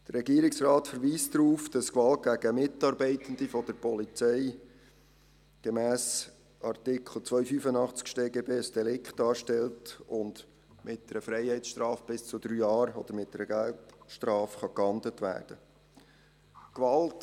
Der Regierungsrat verweist darauf, dass Gewalt gegen Mitarbeitende der Polizei gemäss Artikel 285 des Schweizerischen Strafgesetzbuchs (StGB) ein Delikt ist und mit einer Freiheitsstrafe bis zu drei Jahren oder mit einer Geldstrafe geahndet werden kann.